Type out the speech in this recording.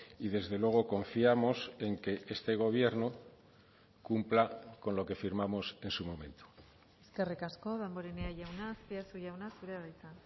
y desde luego confiamos en que este gobierno cumpla con lo que firmamos en su momento eskerrik asko damborenea jauna azpiazu jauna zurea da hitza